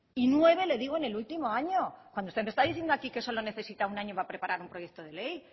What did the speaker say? y nueve le digo en el último año cuando usted me está diciendo aquí que solo necesita un año para preparar un proyecto de ley